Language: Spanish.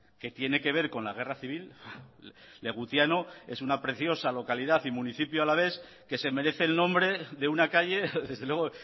que tiene que ver con la guerra civil legutiano es una preciosa localidad y municipio alavés que se merece el nombre de una calle desde luego